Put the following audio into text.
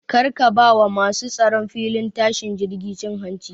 Kar ka ba wa masu tsaron filin tashin jirgi cin hanci